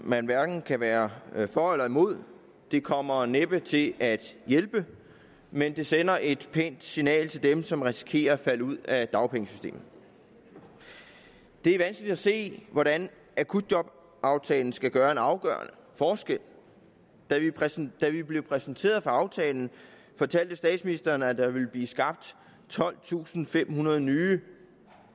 man hverken kan være for eller imod det kommer næppe til at hjælpe men det sender et pænt signal til dem som risikerer at falde ud af dagpengesystemet det er vanskeligt at se hvordan akutjobaftalen skal gøre en afgørende forskel da vi blev præsenteret for aftalen fortalte statsministeren at der ville blive skabt tolvtusinde og femhundrede nye